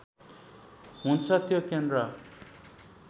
हुन्छ त्यो केन्द्र